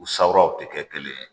U sabaaraw tɛ kɛ kelen ye